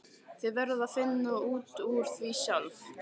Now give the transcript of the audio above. Þið verðið að finna út úr því sjálf.